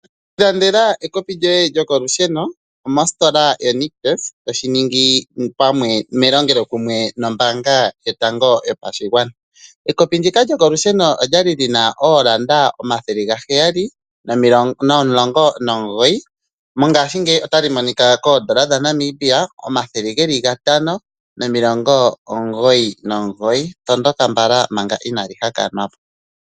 Ilandela ekopi lyoye lyokolusheno mositola yoNictus to shingi melongelo kumwe nombaanga yotango yopashigwana. Ekopi ndika lyokolusheno olya li li na N$ 719.00, ihe mongaashingeyi oto li mono ko N$ 599.00. Tondoka mbala manga inali haka nwa po.